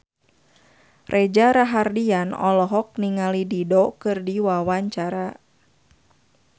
Reza Rahardian olohok ningali Dido keur diwawancara